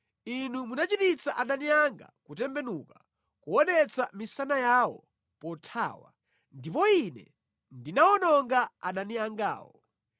Inu munachititsa adani anga kutembenuka, kuonetsa misana yawo pothawa, ndipo ine ndinawononga adani angawo.